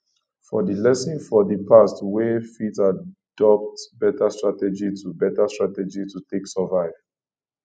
from di lessons of di past we fit adopt better starategy to better starategy to take survive